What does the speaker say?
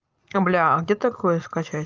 а блядь где такое скачать